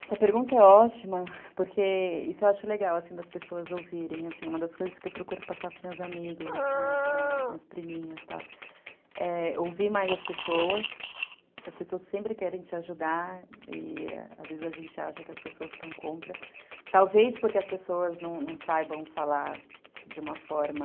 Essa pergunta é ótima, porque isso eu acho legal, assim, das pessoas ouvirem, assim, uma das coisas que eu procuro passar pros meus amigos, assim, para as minhas priminhas e tal, é ouvir mais as pessoas, porque as pessoas sempre querem te ajudar e às vezes a gente acha que as pessoas estão contra, talvez porque as pessoas não saibam falar de uma forma